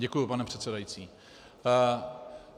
Děkuji, pane předsedající.